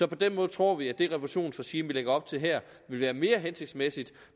på den måde tror vi at det refusionsregime vi lægger op til her vil være mere hensigtsmæssigt